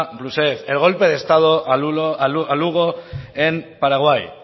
rousseff el golpe de estado a lugo en paraguay